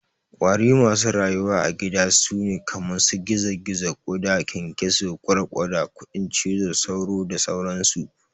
ƙwari masu rayuwa a gida sune kaman su gizo-gizo, ƙuda, ƙyanƙyaso, ƘwarƘwata, kudin cizo, sauro da sauran su.